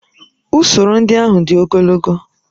Usoro ndị ahụ dị ogologo